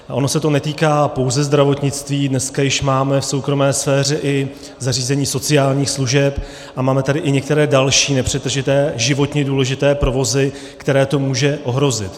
Ono se to netýká pouze zdravotnictví, dneska už máme v soukromé sféře i zařízení sociálních služeb a máme tady i některé další nepřetržité životně důležité provozy, které to může ohrozit.